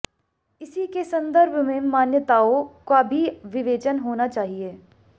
इसी के संदर्भ में मान्यताअों का भी विवेचन होना चाहिए